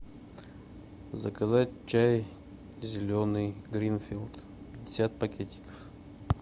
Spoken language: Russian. заказать чай зеленый гринфилд пятьдесят пакетиков